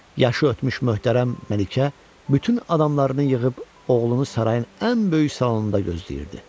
Yaşı ötmüş möhtərəm Məlikə bütün adamlarını yığıb oğlunu sarayın ən böyük salonunda gözləyirdi.